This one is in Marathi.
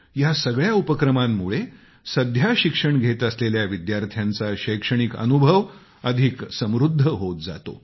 या सगळ्या उपक्रमांमुळे सध्या शिक्षण घेत असलेल्या विद्यार्थ्यांचा शैक्षणिक अनुभव अधिक समृद्ध होत जातो